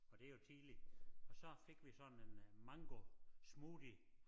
Og det jo tidligt og så fik vi sådan en øh mangosmoothie